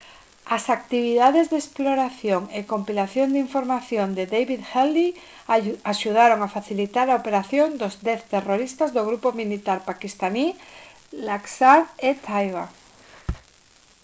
as actividades de exploración e compilación de información de david headley axudaron a facilitar a operación dos 10 terroristas do grupo militar paquistaní laskhar-e-taiba